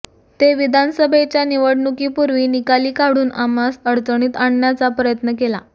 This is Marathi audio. ते विधानसभेच्या निवडणुकीपुर्वी निकाली काढून आम्हास अडचणीत आणण्याचा प्रयत्न केला